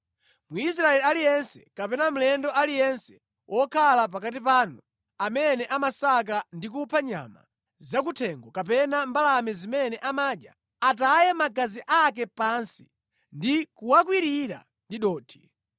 “Mwisraeli aliyense kapena mlendo aliyense wokhala pakati panu amene amasaka ndi kupha nyama zakuthengo kapena mbalame zimene amadya, ataye magazi ake pansi ndi kuwakwirira ndi dothi,